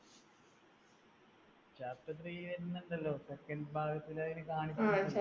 chapter three വരുന്നുണ്ടല്ലോ. second ഭാഗത്തിൽ അത് കാണിക്കുന്നുണ്ട്